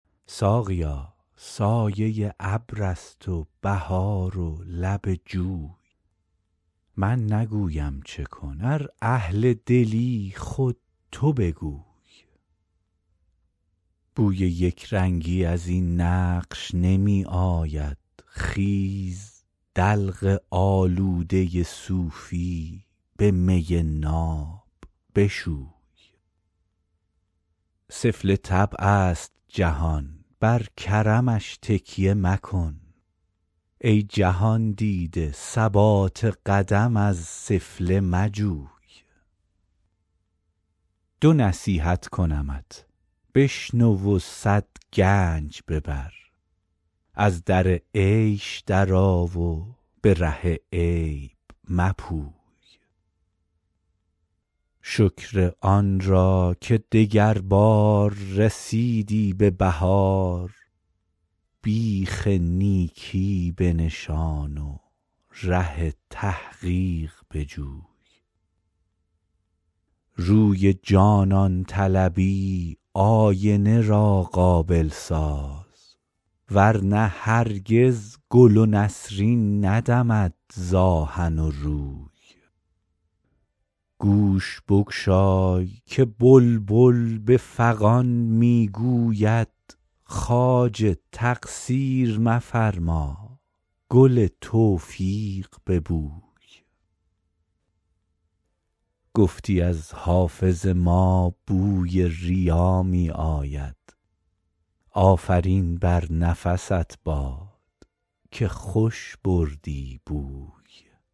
ساقیا سایه ابر است و بهار و لب جوی من نگویم چه کن ار اهل دلی خود تو بگوی بوی یک رنگی از این نقش نمی آید خیز دلق آلوده صوفی به می ناب بشوی سفله طبع است جهان بر کرمش تکیه مکن ای جهان دیده ثبات قدم از سفله مجوی دو نصیحت کنمت بشنو و صد گنج ببر از در عیش درآ و به ره عیب مپوی شکر آن را که دگربار رسیدی به بهار بیخ نیکی بنشان و ره تحقیق بجوی روی جانان طلبی آینه را قابل ساز ور نه هرگز گل و نسرین ندمد ز آهن و روی گوش بگشای که بلبل به فغان می گوید خواجه تقصیر مفرما گل توفیق ببوی گفتی از حافظ ما بوی ریا می آید آفرین بر نفست باد که خوش بردی بوی